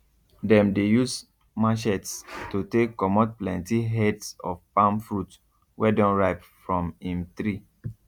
dem dey use matchetes to take comot plenty heads of palm fruit wey don ripe from im tree